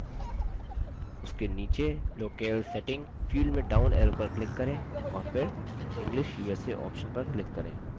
उसके नीचे locale setting field में डाउन एरो पर क्लिक करें और फिर english usa ऑप्शन पर क्लिक करें